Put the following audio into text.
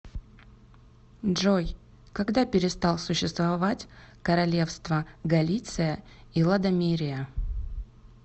джой когда перестал существовать королевство галиция и лодомерия